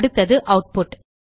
அடுத்தது ஆட்புட்